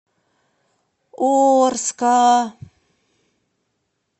орска